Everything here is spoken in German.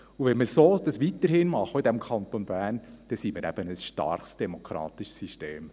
Und wenn wir das weiterhin so machen im Kanton Bern, dann sind wir eben ein starkes demokratisches System.